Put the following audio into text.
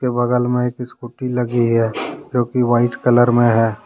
बगल में एक स्कूटी लगी है जो कि व्हाइट कलर में है।